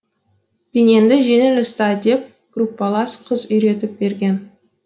денеңді жеңіл ұста деп группалас қыз үйретіп берген